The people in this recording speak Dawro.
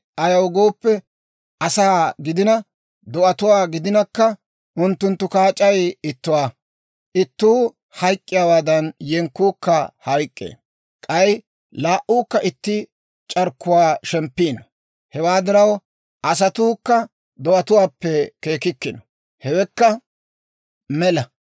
Ayaw gooppe, asaa gidina, do'atuwaa gidinakka, unttunttu kaac'ay ittuwaa; ittuu hayk'k'iyaawaadan, yenkkuukka hayk'k'ee. K'ay laa"uukka itti c'arkkuwaa shemppiino; hewaa diraw, asatuukka do'atuwaappe keekkikkino; hewekka mela.